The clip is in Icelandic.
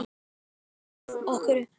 Öll úrslit